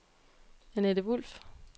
Anette Wolff